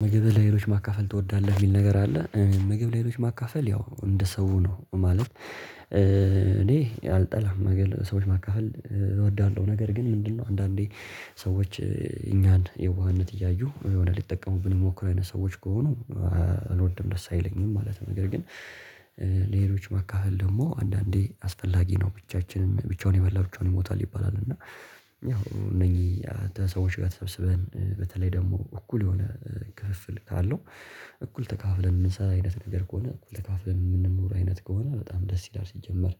ምግብ ለሌሎች ማካፈል ትወዳለህ የሚል ነገር አለ ምግብ ለሌሎች ማካፈል ያው እንደ ሰው ነው ማለት እኔ አልጠላም ምግብ ሰዎች ማካሃል እወዳለሁ ነገር ግን ምንድነው አንዳንዴ ሰዎች እኛን የዋህነት እያዩ የሆነ ሊጠቀሙብን የሞክሩ አይነት ሰዎች ከሆኑ እልወድም ደስ አይለኝም ማለት ነው። ነገር ግን ለሌሎች ማካፈል ደግሞ አንዳንዴ አስፈላጊ ነው። ብቻችንም ብቻውን የመላል ብቻውን ይሞታል ይባላል እና ያው እነኚህ ሰዎች ጋር ተሰብስበን በተለይ ደግሞ እኩል የሆነ ክፍፍል ካለው እኩል ተካፍለን የምንሰራ አይነት ነገር ከሆነ ተካፍለን የምንኖር አይነት ከሆነ በጣም ደስ ይላል። ሲጀመር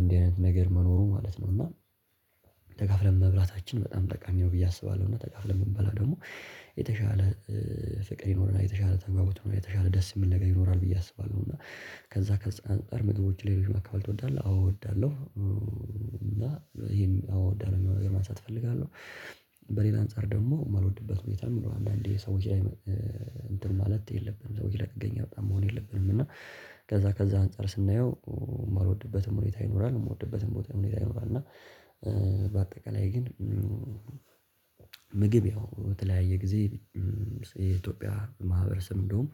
እንዲህ አይነት ነገር መኖሩ ማለት ነው። እና ተካፍለን መብላታችን በጣም ጠቃሚ ነው። ብዬ አስባለሁ እና ተካፍለን ብንበላ ደግሞ የተሻለ ፍቅር ይኖርና የተሻለ ተጋቦት ይኖርና የተሻለ ደስ የምል ነገር ይኖራል ብዬ አስባለሁ። እና ከዛ ከዛ አንፃር ምግቦች ለሌሎች ማካፈል ትወዳለህ? አዎ እወዳለሁ። እና ይሄን አወ እዳለሁ ሚለውን ነገር ማንሳት እፈልጋለሁ። በሌላ አንፃር ደግሞ የማልወድበት ሁኔታ ይኖራል አንዳንዴ ሰው ውጪ ማለት የለብንም ሰዎች ጥገኛ በጣም መሆን የለብንም። እና ከዛ ከዛ አንፃር ስናየው የማልወድበትም ሁኔታ ይኖራል የምወድበትም ቦታ ሁኔታ ይኖራል። አይምሯል እና በአጠቃላይ ግን ምግብ ያው በተለያየ ጊዜ የኢትዮጵያ ማህበረሰብ እንደውም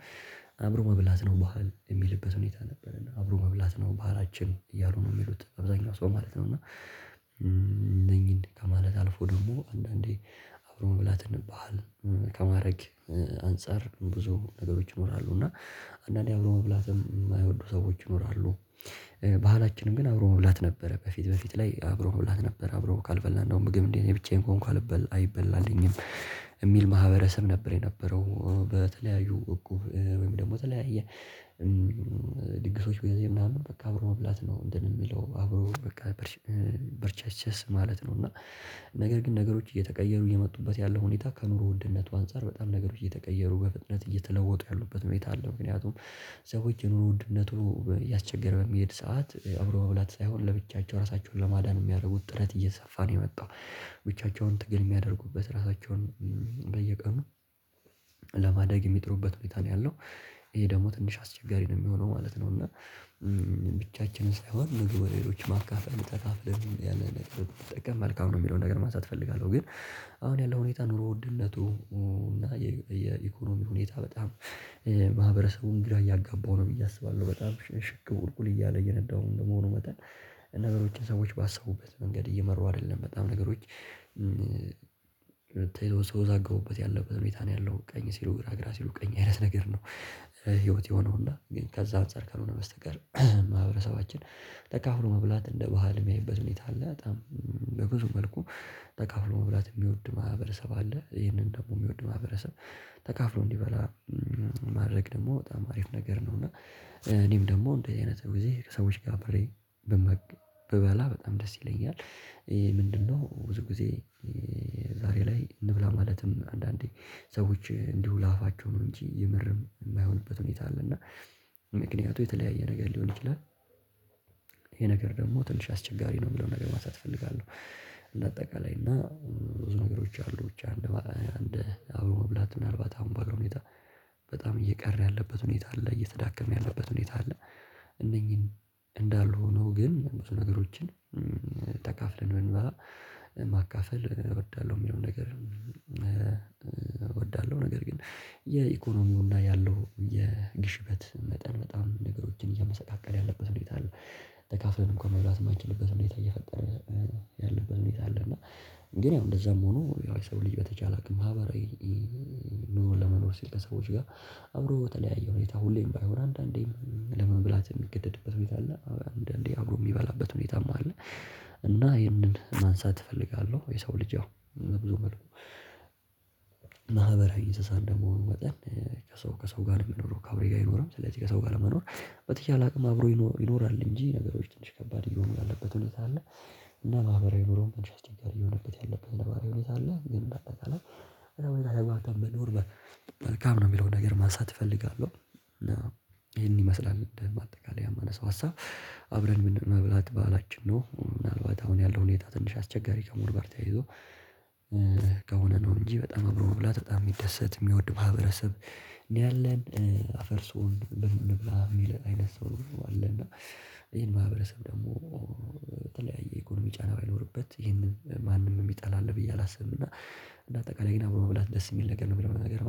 አብሮ መብላት ነው ባህል የሚልበት ሁኔታ ነበረና አብሮ መብላት ነው ባህላችን እያሉ ነው የሚሉት አብዛኛው ሰው ማለት ነው። እና እነኚህን ከማለት አልፎ ደግሞ አንዳንዴ አብሮ መብላት ባህል ከማድረግ አንፃር ብዙ ነገሮች ይኖራሉ እና አንዳንዴ አብሮ መብላትም የማይወዱ ሰዎች ይኖራሉ። ባህላችንም ግን አብሮ መብላት ነበረ በፊት በፊት ላይ አብሮ መብላት ነበረ አብሮ ካልበላን እንዲያውም ምግብ እንዴት ብቻዬን ከሆንኩ አይበላልኝም የሚል ማህበረሰብ ነበር። የነበረው በተለያዩ እቁብ ወይም ደግሞ በተለያየ ድግሶች በዚህ ምናምን በቃ አብሮ መብላት ነው እንትን የሚለው አብሮ በቃ በርቻስቸስ ማለት ነው። እና ነገር ግን ነገሮች እየተቀየሩ እየመጡበት ያለው ሁኔታ ከኑሮ ውድነቱ አንፃር በጣም ነገሮች እየተቀየሩ በፍጥነት እየተለወጡ ያሉበት ሁኔታ አለ። ምክንያቱም ሰዎች የኑሮ ውድነቱ እያስቸገረ በሚሄድ ሰዓት አብሮ በብላት ሳይሆን ለብቻቸው ራሳቸውን ለማዳን የሚያደርጉት ጥረት እየተሰፋ ነው የመጣው ብቻቸውን ትግል የሚያደርጉበት ራሳቸውን በየቀኑ ለማደግ የሚጥሩበት ሁኔታ ነው ያለው ይሄ ደግሞ ትንሽ አስቸጋሪ ነው የሚሆነው ማለት ነው። እና ብቻችንን ሳይሆን ምግብ ሌሎችን ማካፈል ተካፍለን ያለ ነገር ትጠቀማለህ ካሁን ነው የሚለውን ነገር ማንሳት እፈልጋለሁ ግን አሁን ያለው ሁኔታ ኑሮ ውድነቱ እና የኢኮኖሚ ሁኔታ በጣም ማህበረሰቡን ግራ እያጋባሁ ነው ብዬ አስባለሁ በጣም ሽቅብ ቁልቁል እያለ የነዳሁ እንደመሆኑ መጠን ነገሮችን ሰዎች ባሰቡበት መንገድ እየመሩ አይደለም በጣም ነገሮች ሲወዛገቡበት ያለበት ሁኔታ ነው ያለው ቀኝ ሲሉ ግራ ግራ ሲሉ ቀኝ አይነት ነገር ነው። ህይወት የሆነው እና ግን ከዛ አንፃር ካልሆነ በስተቀር ማህበረሰባችን ተካፍሎ መብላት እንደ ባህል የሚያይበት ሁኔታ አለ በጣም በብዙ መልኩ ተቃፍሎ መብላት የሚወድ ማህበረሰብ አለ። ይህንን ደግሞ የሚወድ ማህበረሰብ ተካፍሎ እንዲበላ ማድረግ ደግሞ በጣም አሪፍ ነገር ነው። እና እኔም ደግሞ እንዲህ አይነት ጊዜ ከሰዎች ጋር ብሬ ብበላ በጣም ደስ ይለኛል። ምንድነው ብዙ ጊዜ ዛሬ ላይ እንብላ ማለትም አንዳንዴ ሰዎች እንዲሁ ለአፋቸው ነው እንጂ የምርም የማይሆንበት ሁኔታ አለ። እና ምክንያቱ የተለያየ ነገር ሊሆን ይችላል ይሄ ነገር ደግሞ ትንሽ አስቸጋሪ ነው የሚለውን ነገር ማሳተፍ እፈልጋለሁ። እንደ አጠቃላይ እና ብዙ ነገሮች አሉ ብቻ አለ አንድ አብሮ መብላት ምናልባት አሁን በኋላ ሁኔታ በጣም እየቀረ ያለበት ሁኔታ አለ እየተዳከመ ያለበት ሁኔታ አለ። እነኚህን እንዳልሁህ ነው ግን ብዙ ነገሮችን ተካፍለን ብንበላ ማካፈል እወዳለሁ የሚለውን ነገር እወዳለሁ ነገር ግን የኢኮኖሚውና ያለው የግሽበት መጠን በጣም ነገሮችን እያመሰቃቀለ ያለበት ሁኔታ አለ። ተካፍለን እንኳን መብላት የማይችልበት ሁኔታ እየፈጠረ ያለበት ሁኔታ አለ። እና ግን ያው እንደዛም ሆኖ ያው የሰው ልጅ በተቻለ አቅም ማህበራዊ ኑሮ ለመኖር ሲል ከሰዎች ጋር አብሮ በተለያየ ሁኔታ ሁሌም ባይሆን አንዳንዴም ለመብላት የሚገደድበት ሁኔታ አለ አንዳንዴ አብሮ የሚበላበት ሁኔታም አለ። እና ይሄንን ማንሳት እፈልጋለሁ የሰው ልጅ ያው ብዙ መልኩ ማህበራዊ እእንስሣ እንደመሆኑ ወጠን ከሰው ከሰው ጋር ለመኖር ከአብሬ ጋር ይኖራል ስለዚህ ከሰው ጋር ለመኖር በተቻለ አቅም አብሮ ይኖራል እንጂ ነገሮች ትንሽ ከባድ እየሆኑ ያለበት እውነት አለ። እና ማህበራዊ ኑሮም ትንሽ አስቸጋሪ እየሆነበት ያለበት የነባራዊ ሁኔታ አለ። ግን እንዳጠቃላይ በዚህ ሁኔታ በጣም መኖር መልካም ነው የሚለው ነገር ማንሳት እፈልጋለሁ። ይሄን ይመስላል እንደ ማጠቃለያ የማነሳው ሀሳብ አብረን ምንም መብላት በዓላችን ነው ምናልባት አሁን ያለው ሁኔታ ትንሽ አስቸጋሪ ከመሆኑ ጋርተያይዞ ከሆነ ነው እንጂ በጣም አብሮ መብላት በጣም የሚደሰት የሚወድ ማህበረሰብ ነው። ያለን አፈር ስሆን እንብላ የሚል አይነት ሰው ነው አለና ይሄን ማህበረሰብ ደግሞ በተለያየ ኢኮኖሚ ጫና ባይኖርበት ይሄንን ማንም የሚጣላ አለ ብዬ አላስብም። እና እንደ አጠቃላይ ግን መብላት ደስ የሚል ነገር ነው የምለው። ነገር